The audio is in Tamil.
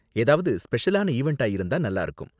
ஏதாவது ஸ்பெஷலான ஈவண்ட்டா இருந்தா நல்லாருக்கும்.